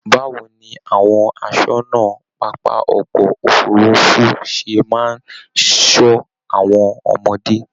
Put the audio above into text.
báwo ni àwọn àsọ́nà pápá ọkọ òfurùnfu ṣe máa n sọ àwọn ọmọdé?